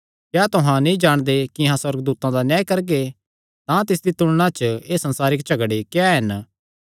क्या तुहां नीं जाणदे कि अहां सुअर्गदूतां दा न्याय करगे तां तिसदी तुलणा च एह़ संसारिक झगड़े क्या हन